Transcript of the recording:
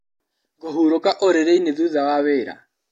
Ngũhurũka ũrĩrĩinĩ thutha wa wĩra.